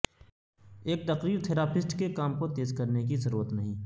ایک تقریر تھراپسٹ کے کام کو تیز کرنے کی ضرورت نہیں